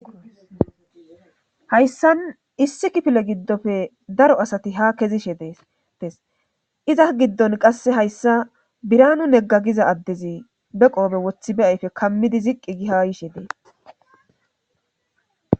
Hayssan issi kifile giddofe daro asati ha kezishe des iza giddon qasse hayssa biranu neggagiza addezi be qoobe wothi be ayfe kammidi ziqqi gi ha yishe dee